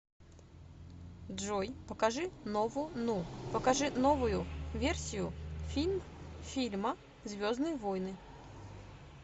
джой покажи нову ну покажи новую версию фильм фильма звездные войны